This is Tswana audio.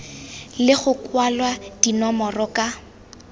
le go kwalwa dinomoro ka